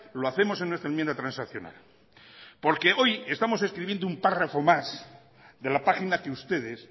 lo hacemos en nuestra enmienda transaccional porque hoy estamos escribiendo un párrafo más de la página que ustedes